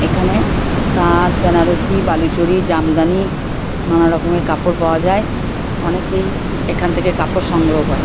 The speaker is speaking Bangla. এখানে তাঁত বেনারসি বালুচরি জামদানি নানা রকমের কাপড় পাওয়া যায় অনেকেই এই এখান থেকে কাপড় সংগ্রহ করে।